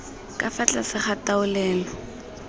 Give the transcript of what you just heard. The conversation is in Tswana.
ka fa tlase ga taolelo